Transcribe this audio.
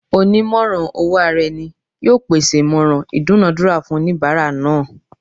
Onimoran-owo-araeni yoo pese imoran idunadura fun onibara naa